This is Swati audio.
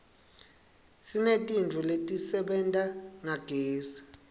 sinetintfo letisebenta ngagezi